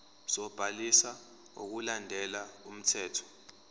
sobhaliso ngokulandela umthetho